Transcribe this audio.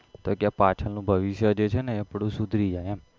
તો કે પાછળનું ભવિષ્ય જે છેને આપડું સુધારી જાય એમ